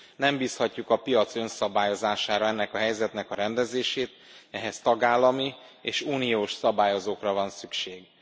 Nem bízhatjuk a piac önszabályozására ennek a helyzetnek a rendezését, ehhez tagállami és uniós szabályozókra van szükség.